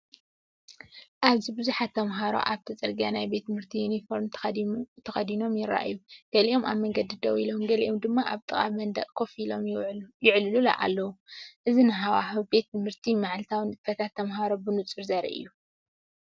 ኣብዚ ብዙሓት ተማሃሮ ኣብቲ ጽርግያ ፡ ናይ ቤት ትምህርቲ ዩኒፎርም ተኸዲኖም ይረኣዩ። ገሊኦም ኣብ መንገዲ ደው ኢሎም፡ ገሊኦም ድማ ኣብ ጥቓ መንደቕ ኮፍ ኢሎም ይዕልሉ ኣለዉ። እዚ ንሃዋህው ቤት ትምህርትን መዓልታዊ ንጥፈታት ተምሃሮን ብንጹር ዘርኢ እዩ።